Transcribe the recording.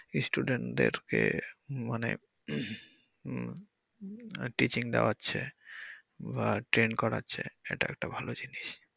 student দের কে মানে টিচিং দেওয়াচ্ছে বা train করাচ্ছে এটা একটা ভাল জিনিস।